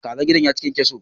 Kazan gida ya ci kyankyaso.